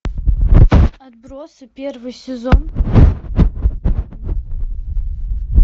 отбросы первый сезон